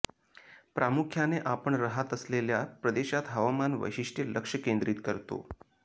प्रामुख्याने आपण रहात असलेल्या प्रदेशात हवामान वैशिष्ट्ये लक्ष केंद्रीत करतो